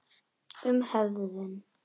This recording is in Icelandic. Um höfund